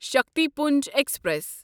Shaktipunj express